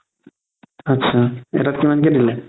আতচা এটাত কিমান কে দিলে?